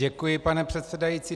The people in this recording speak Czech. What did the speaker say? Děkuji, pane předsedající.